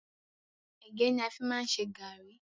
Ẹ̀gẹ́ ni a fi má ń ṣe gàrrí.